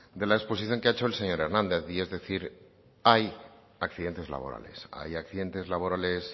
de la exposición que ha hecho el señor hernández y es decir hay accidentes laborales hay accidentes laborales